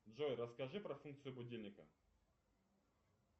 джой расскажи про функцию будильника